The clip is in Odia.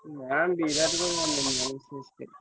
ନା ବିରାଟ କୋହଲି ଆମର ନୁହଁ ଆମର CSK